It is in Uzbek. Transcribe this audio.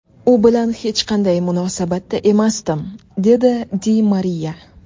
U bilan hech qanday munosabatda emasdim”, dedi Di Mariya.